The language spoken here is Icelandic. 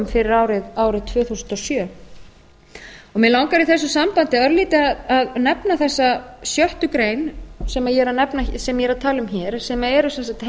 fyrir árið tvö þúsund og sjö mig langar í þessu sambandi örlítið að nefna þessa sjöttu grein sem ég er að tala um hér sem eru sem sagt heimilda